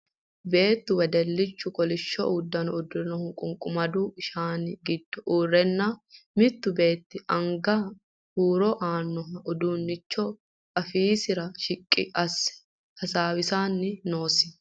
Beettu wedellichu kolishsho uddano uddirinohu qunqumadu shaani giddo uurrenna mittu beetti anga huuro haaranno uduunnicho afiisiwa shiqqi asse hasaawisanni noosi.